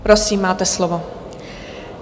Prosím, máte slovo.